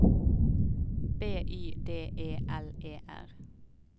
B Y D E L E R